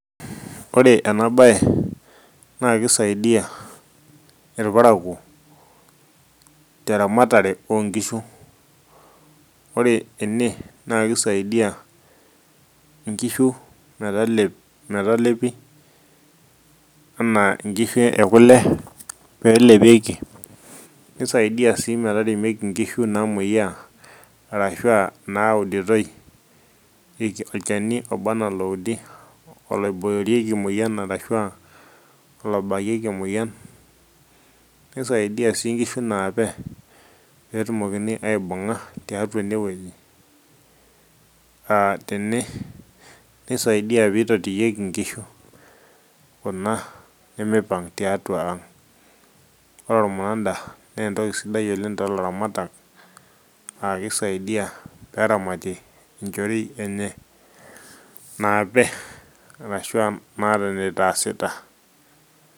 ore ena baye naa kisaidia irparakuo teramatare onkishu ore ene naa kisaidia inkishu metalep metalepi anaa inkishu ekule pelepieki nisaidia sii metaremieki inkishu namuoyiaa arashua nauditoi irk olchani oba anaa oloudi oloiboorieki emoyian arashua olobakieki emoyian nisaidia sii inkishu naape petumokini aibung'a tiatua enewueji uh, tene nisaidia peyie itotiyieki inkishu kuna nemipang tiatua ang ore ormunanda nentoki sidai oleng tolaramatak akisaidia peramatie inchorei enye naape arasua naata enitaasita.